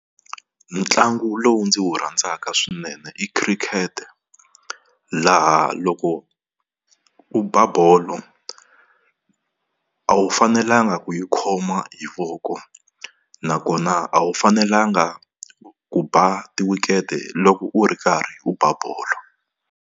Ntlangu lowu ndzi wu rhandzaka swinene i Khirikete laha loko u ba bolo a wu fanelanga ku yi khoma hi voko, nakona a wu fanelanga ku ba ti-weekend loko u ri karhi u ba bolo.